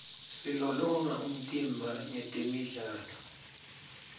silolonga umtimba ngetemidlalo